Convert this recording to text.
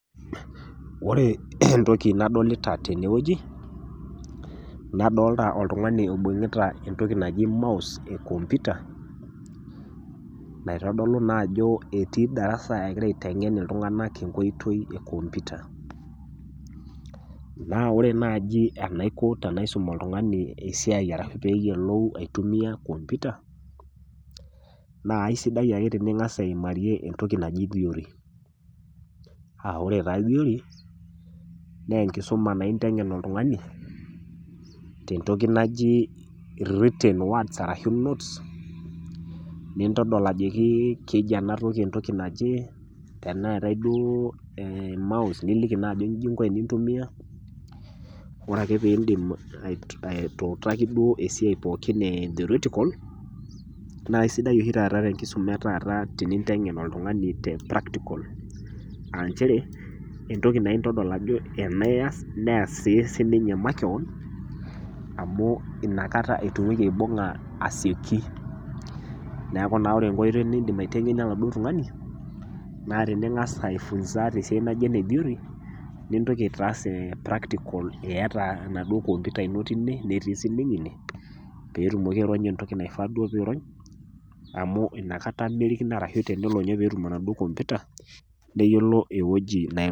Ore entoki nadolita tene wueji, nadolita oltung'ani oibung'ita entoki naji mouse e kompyuta, naitodolu naa ajo etii darasa egira aiteng'en iltung'ana enkoitoi e kompyuta. Naa ore naaji enaiko paaisum oltung'ani enaiko pee eyiolou aitumia kompyuta naa aisidai ake tening'as aimarie entoki naji theory a Kore taa theory naa enkisuma naa inteng'en oltung'ani te entoki naji written words arashu notes, niitodol ajoki keji ena toki entoki naje, teneatai duo emause, nilo ajo inchi inko pee intumia. Ore ake pee indip atuutaki ake duo esiai pooki e theoretical naa aisidai oshi taata te enkisuma e oshi taata teninteng'en oltung'ani te practical, a nchere ore entoki naa intodol ajo ena ias, neas sii sininye makewon, amu Ina kata etumoki aibung'a asioki. Neaku ore naa enkoitoi niindim naa duo aiteng'enie oladuo tung'ani, naa tening'as aifunza tenkoitoi naji ene theory nintoki aitaasa practical iata enaduo kompyuta ino teine, netii sii ninye ine pee etumoki aironya duo entoki naifaa duo pee eirony amu Ina kata duo kenarikino metaa ore pee etum enaduo kompyuta nerikino ewueji nai